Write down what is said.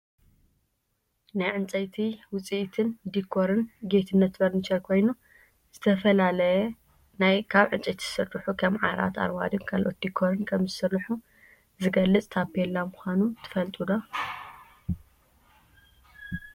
ናይ ዕንፀይቲ ውፂኢትን ዲኮርን ጌትነት ፈርንቸር ኮይኑ ዝተፈላለዩ ካብ ዕንፀይቲ ዝስርሑ ከም ዓራት፣ ኣርማዶን ካልኦትን ዲኮርን ከምዝሰርሑ ዝገልፅ ታፔላ ምኳኑ ትፈልጡ ዶ?